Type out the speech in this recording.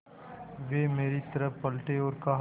वे मेरी तरफ़ पलटे और कहा